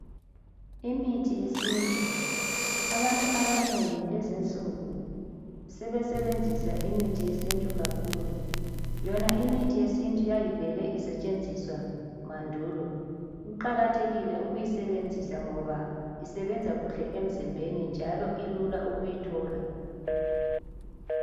Imithi yesintu ,abantu abanengi lezinsuku sebesebenzisa imithi yesintu kakhulu ,yona imithi yesintu yayivele isetshenziswa mandulo . Kuqakathekile ukuyisebenza ngoba isebenza kuhle emzimbeni njalo ilula ukuyithola.